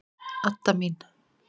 Adda mín!